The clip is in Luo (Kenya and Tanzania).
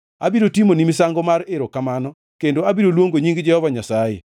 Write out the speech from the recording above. Abiro timoni misango mar erokamano kendo abiro luongo nying Jehova Nyasaye.